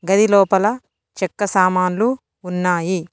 గది లోపల చెక్క సామాన్లు ఉన్నాయి.